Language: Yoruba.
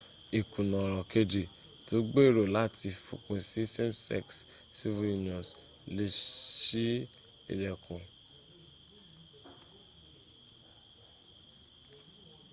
ìkùnà ọ̀rọ̀ kejì tí ó gbèrò láti fòpin sí same sex civil unions lè ṣí ìlẹ́kùn fún civil union ní ọjọ ìwájú